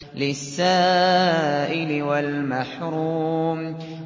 لِّلسَّائِلِ وَالْمَحْرُومِ